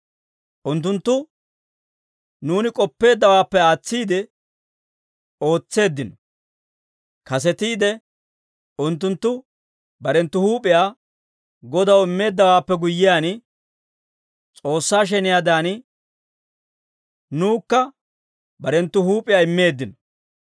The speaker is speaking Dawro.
Unttunttu nuuni k'oppeeddawaappe aatsiide ootseeddino; kasetiide unttunttu barenttu huup'iyaa Godaw immeeddawaappe guyyiyaan, S'oossaa sheniyaadan, nuwukka barenttu huup'iyaa immeeddino.